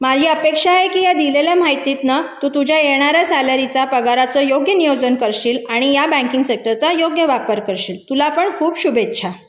माझी अपेक्षा आहे की मी दिलेल्या माहितीत न तू तुझ्या येणाऱ्या सॅलरी चा पगाराचा योग्य नियोजन करशील आणि या बँकिंग सेक्टरचा योग्य वापर करशील तुला पण खूप शुभेच्छा